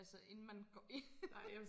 Altså inden man går ind